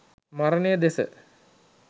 මරණය දෙස